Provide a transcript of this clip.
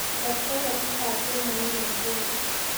Ker soketitab wemoit nyu nguno